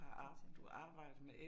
Hvad tænker